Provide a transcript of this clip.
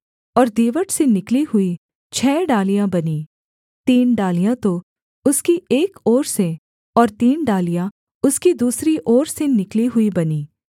और दीवट से निकली हुई छः डालियाँ बनीं तीन डालियाँ तो उसकी एक ओर से और तीन डालियाँ उसकी दूसरी ओर से निकली हुई बनीं